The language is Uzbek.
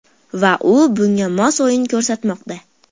Va u bunga mos o‘yin ko‘rsatmoqda.